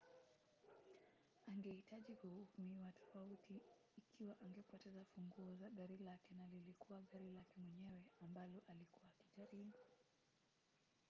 angehitaji kuhukumiwa tofauti ikiwa angepoteza funguo za gari lake na lilikuwa gari lake mwenyewe ambalo alikuwa akijaribu